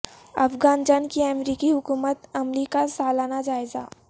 افغان جنگ کی امریکی حکمت عملی کا سالانہ جائزہ